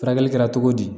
Furakɛli kɛra cogo di